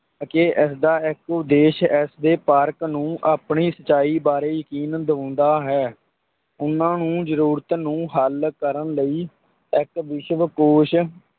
ਕਿ ਇਸਦਾ ਇੱਕ ਉਦੇਸ਼ ਇਸ ਦੇ ਪਾਠਕ ਨੂੰ ਆਪਣੀ ਸੱਚਾਈ ਬਾਰੇ ਯਕੀਨ ਦਿਵਾਉਂਦਾ ਹੈ, ਉਹਨਾਂ ਨੂੰ ਜ਼ਰੂਰਤ ਨੂੰ ਹੱਲ ਕਰਨ ਲਈ, ਇੱਕ ਵਿਸ਼ਵ ਕੋਸ਼,